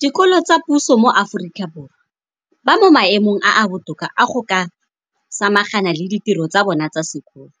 dikolo tsa puso mo Aforika Borwa ba mo maemong a a botoka a go ka samagana le ditiro tsa bona tsa sekolo,